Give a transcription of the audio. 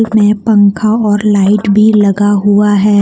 में पंखा और लाइट भी लगा हुआ है।